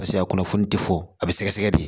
Paseke a kunnafoni tɛ fɔ a bɛ sɛgɛsɛgɛ di